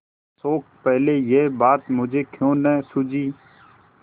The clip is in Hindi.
शोक पहले यह बात मुझे क्यों न सूझी